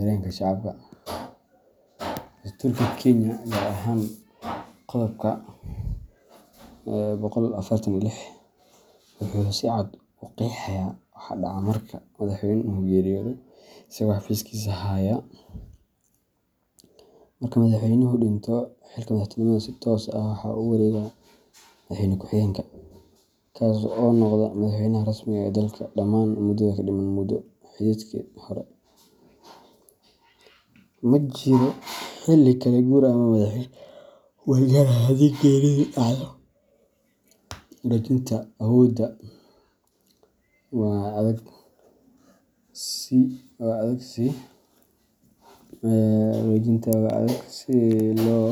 dalka sitha qodobka boqol iyo kow, barkinta waa si wajinta si lo.